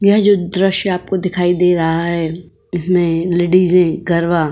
यह जो द्रश्य आपको दिखाई दे रहा है इसमें लेडिजें गरबा --